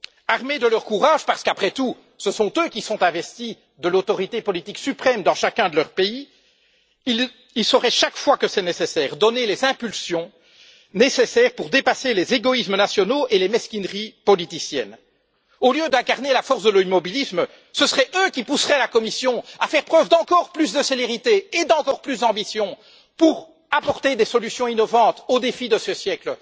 Armés de leur courage parce qu'après tout, ce sont eux qui sont investis de l'autorité politique suprême dans chacun de leur pays ils sauraient chaque fois que nécessaire donner les impulsions requises pour dépasser les égoïsmes nationaux et les mesquineries politiciennes. Au lieu d'incarner la force de l'immobilisme, ce seraient eux qui pousseraient la Commission à faire preuve d'encore plus de célérité et d'ambition pour apporter des solutions innovantes aux défis de ce siècle.